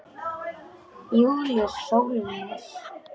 Júlíus Sólnes.